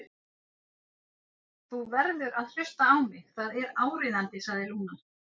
Þú verður að hlusta á mig, það er áríðandi, sagði Lúna.